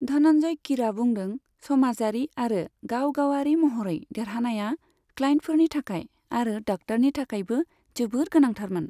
धनन्जय कीरआ बुंदों, समाजारि आरो गाव गावारि महरै देरहानाया क्लाइन्टफोरनि थाखाय आरो डाक्टारनि थाखायबो जोबोद गोनांथारमोन।